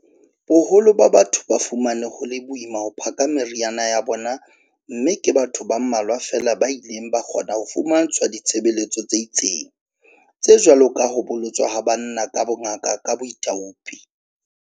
Boholo ba batho ba fumane ho le boima ho phaka meriana ya bona mme ke batho ba mmalwa feela ba ileng ba kgona ho fumantshwa ditshebeletso tse itseng, tse jwalo ka ho bolotswa ha banna ka bongaka ka boithaupi.